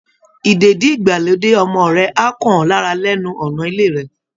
Ìdèdí-ìgbàlódé ọmọ rẹ á kàn ọ́ lára lẹ́nu ọ̀nà ilé rẹ